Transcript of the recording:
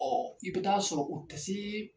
i bɛ taa sɔrɔ o tɛse.